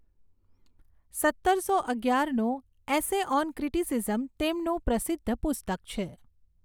સત્તરસો અગિયારનું essay on criticism તેમનું પ્રસિદ્ધ પુસ્તક છે.